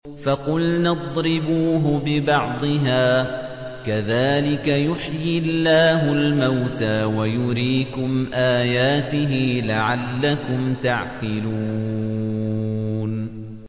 فَقُلْنَا اضْرِبُوهُ بِبَعْضِهَا ۚ كَذَٰلِكَ يُحْيِي اللَّهُ الْمَوْتَىٰ وَيُرِيكُمْ آيَاتِهِ لَعَلَّكُمْ تَعْقِلُونَ